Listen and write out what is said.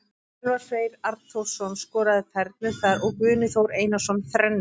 Elvar Freyr Arnþórsson skoraði fernu þar og Guðni Þór Einarsson þrennu.